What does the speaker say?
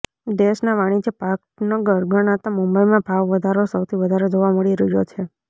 દેશના વાણિજ્ય પાટનગર ગણાતા મુંબઈમાં ભાવ વધારો સૌથી વધારે જોવા મળી રહ્યો છે